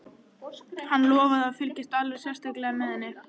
Hann lofaði að fylgjast alveg sérstaklega með henni.